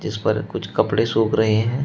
जिस पर कुछ कपड़े सूख रहे--